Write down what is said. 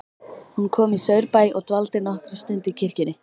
Hún kom í Saurbæ og dvaldi nokkra stund í kirkjunni.